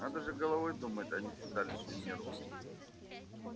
надо же головой думать а не седалищным нервом